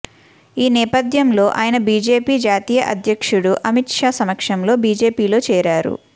ఈ నేపథ్యంలో ఆయన బీజేపీ జాతీయ అధ్యక్షుడు అమిత్ షా సమక్షంలో బీజేపీలో చేరారు